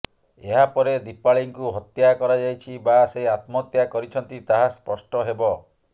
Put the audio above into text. ଏହାପରେ ଦିପାଳୀଙ୍କୁ ହତ୍ୟା କରାଯାଇଛି ବା ସେ ଆତ୍ମହତ୍ୟା କରିଛନ୍ତି ତାହା ସ୍ପଷ୍ଟ ହେବ